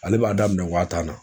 Ale b'a daminɛ wa tan na